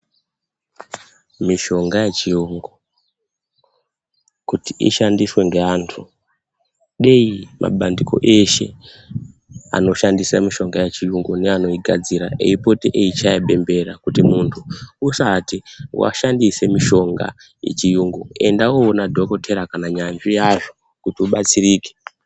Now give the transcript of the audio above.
Mitombo yechiyungu, kuti ishandiswe ngeantu, dei mabandiko eshe , anoshandise mitombo yacho yechiyungu neanoigadzira, eipota achichaya bembera kuti muntu usati washandisa mutombo yechiyungu, enda undoona dhokodheya kana nyanzvi yazvo kuti ubatsirike.